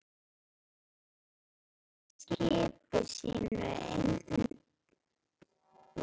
Brandur lagði skipi sínu inn til Niðaróss.